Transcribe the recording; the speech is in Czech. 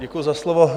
Děkuji za slovo.